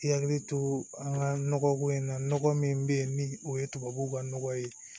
I hakili to an ka nɔgɔ ko in na nɔgɔ min be ye ni o ye tubabuw ka nɔgɔ ye